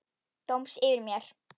Dóms yfir mér.